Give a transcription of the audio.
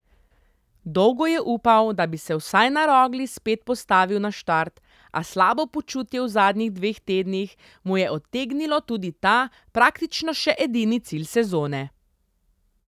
Dolgo je upal, da bi se vsaj na Rogli spet postavil na štart, a slabo počutje v zadnjih dveh tednih mu je odtegnilo tudi ta, praktično še edini cilj sezone.